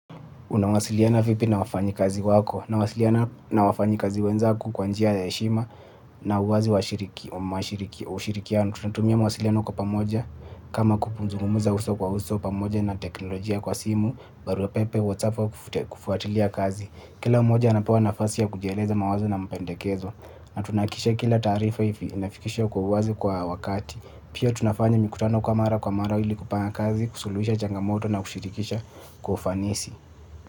Unawasiliana vipi na wafanyikazi wako? Nawasiliana na wafanyikazi wenzangu kwa njia ya heshima na uwazi wa ushirikiano. Tunatumia mawasiliano kwa pamoja kama kuzungumza uso kwa uso pamoja na teknolojia kwa simu, barua pepe, WhatsApp au kufuatilia kazi. Kila mmoja anapewa nafasi ya kujieleza mawazo na mpendekezo, na tunahakikisha kila taarifa inafikishwa kwa uwazi kwa wakati. Pia tunafanya mikutano kwa mara kwa mara ili kupanga kazi, kusulujisha changamoto na kushirikisha kwa ufanisi.